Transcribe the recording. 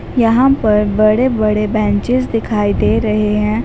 यहां पर बड़े बड़े बेंचेस दिखाई दे रहे हैं।